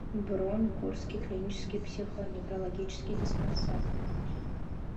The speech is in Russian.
бронь курский клинический психоневрологический диспансер